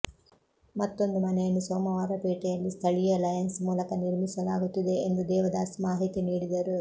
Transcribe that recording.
ಮತ್ತೊಂದು ಮನೆಯನ್ನು ಸೋಮವಾರಪೇಟೆಯಲ್ಲಿ ಸ್ಥಳೀಯ ಲಯನ್ಸ್ ಮೂಲಕ ನಿರ್ಮಿಸಲಾಗುತ್ತಿದೆ ಎಂದು ದೇವದಾಸ್ ಮಾಹಿತಿ ನೀಡಿದರು